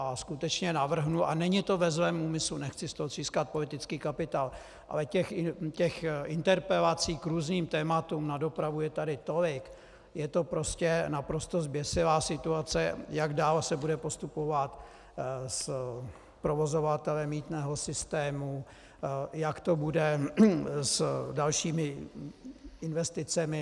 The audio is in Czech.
A skutečně navrhnu, a není to ve zlém úmyslu, nechci z toho třískat politický kapitál, ale těch interpelací k různým tématům na dopravu je tady tolik, je to prostě naprosto zběsilá situace - jak dál se bude postupovat s provozovatelem mýtného systému, jak to bude s dalšími investicemi.